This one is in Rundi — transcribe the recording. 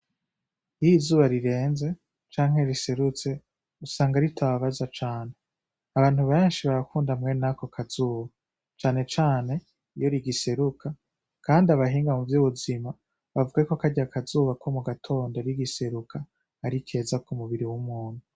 Iy'izuba rirenze canke riserutse usanga ritababaza cane. Abantu benshi barakunda ben'ako kazuba cane cane iyo rigiseruka kand'abahinga muvy'ubuzima bavuga y'uko karya kazuba ko mugatondo rigiseruka arikeza k'umubiri w'umuntu.